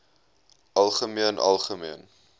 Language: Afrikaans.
algemeen algemeen